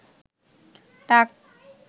টাক